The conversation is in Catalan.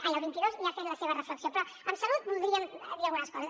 ai el vint dos i ha fet la seva reflexió però de salut voldríem dir algunes coses